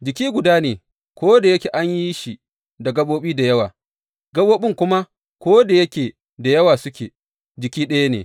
Jiki guda ne, ko da yake an yi shi da gaɓoɓi da yawa; gaɓoɓin kuma ko da yake da yawa suke, jiki ɗaya ne.